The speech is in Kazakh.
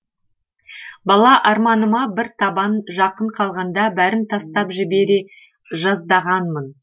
бала арманыма бір табан жақын қалғанда бәрін тастап жібере жаздағанмын